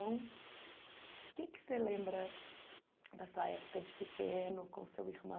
O que que você lembra da sua época de pequeno, com seu